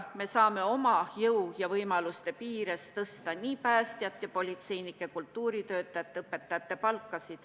Me saame ikka oma jõu ja võimaluste piires tõsta nii päästjate, politseinike, kultuuritöötajate kui ka õpetajate palka.